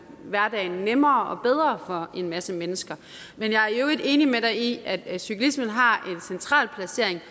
hverdagen nemmere og bedre for en masse mennesker men jeg i øvrigt enig med dig i at at cyklismen har en central placering